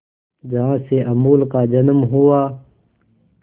जहां से अमूल का जन्म हुआ